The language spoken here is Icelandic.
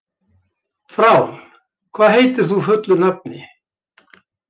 Frán, hvað heitir þú fullu nafni?